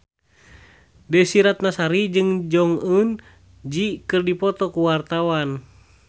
Desy Ratnasari jeung Jong Eun Ji keur dipoto ku wartawan